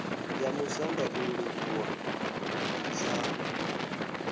ya musanda u livhuwa vhamusanda